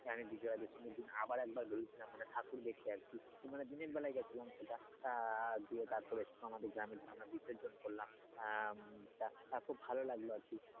আমি বিজয়া দশমীর দিন আবার একবার বেরিয়ে ছিলাম, মানে ঠাকুর দেখতে আর কি তো মানে দিনের বেলায় গেছিলাম সেটা আহ দিয়ে তার পরে আমাদের গ্রামে ধর আমরা বিসর্জন করলাম আহ তা খুব ভালো লাগলো আরকি,